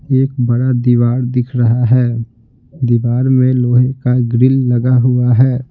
एक बड़ा दीवार दिख रहा है दीवार में लोहे का ग्रिल लगा हुआ है।